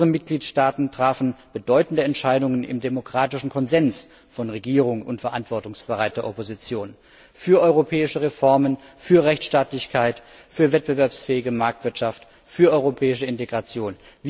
Unsere Mitgliedstaaten trafen bedeutende Entscheidungen im demokratischen Konsens von Regierung und verantwortungsbereiter Opposition für europäische Reformen, für Rechtstaatlichkeit, für wettbewerbsfähige Marktwirtschaft, für europäische Integration.